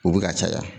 U bɛ ka caya